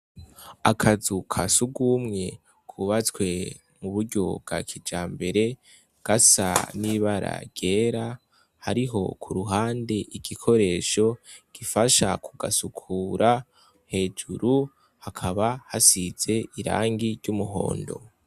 Akazu ka sugumwe kubatswe muburyo bwa kijambere gasa n’ibara ryera, hariho iruhande igikoresho kifasha kugasukura hejuru hakaba hasize irangi ry’umuhondo.